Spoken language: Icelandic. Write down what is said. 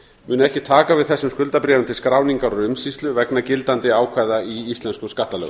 munu ekki taka við þessum skuldabréfum til skráningar og umsýslu vegna gildandi ákvæða í íslenskum skattalögum